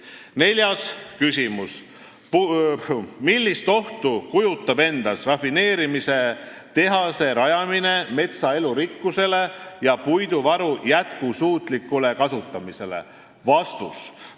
Neljas küsimus: "Millist ohtu kujutab endast rafineerimistehase rajamine metsa elurikkusele ja puiduvaru jätksuutlikule kasutamisele?